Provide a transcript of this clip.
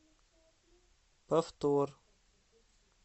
повтор